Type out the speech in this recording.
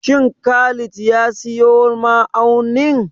Shin Khalid ya siyo ma'aunin?